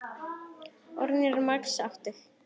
Orð eru margs máttug.